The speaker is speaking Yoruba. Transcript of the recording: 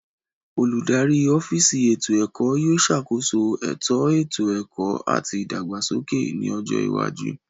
Oludari ọfiisi eto ẹkọ yóò ṣakoso eto eto ẹkọ ati ìdàgbàsókè ni ọjọ iwaju.